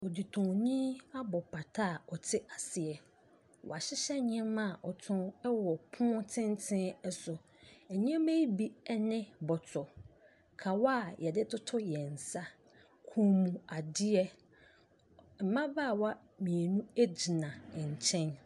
Ɔɔdetɔnni abɔ pata a ɔte aseɛ. Wahyehyɛ nneɛma a ɔtɔn wɔ pono tenten so. Nneɛma ne bi ne bɔtɔ, kawa a yɛde toto yɛn nsa, kɔnmuadeɛ. Mmabaawa mmienu gyina nkyɛn.